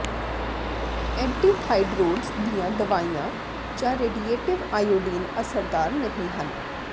ਐਂਟੀਥਾਇਡਰੋਡਜ਼ ਦੀਆਂ ਦਵਾਈਆਂ ਜਾਂ ਰੇਡੀਏਟਿਵ ਆਇਓਡੀਨ ਅਸਰਦਾਰ ਨਹੀਂ ਹਨ